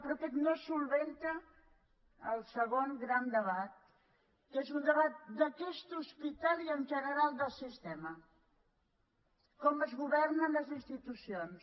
però aquest no resol el segon gran debat que és un debat d’aquest hospital i en general del sistema com es governen les institucions